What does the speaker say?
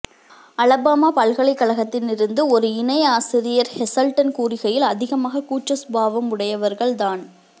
Alabama பல்கலைகழகத்தின் இருந்து ஒரு இணை ஆசிரியர் ஹெசல்டன் கூறுகையில் அதிகமாக கூட்ச சுபாவம் உடையவர்கள் தான்